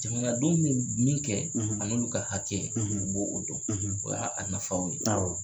Jamana denw bɛ min kɛ an'olu ka hakɛ u b'o o dɔn o y'a nafaw ye awɔ